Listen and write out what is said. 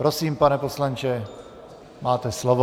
Prosím, pane poslanče, máte slovo.